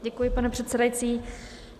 Děkuji, pane předsedající.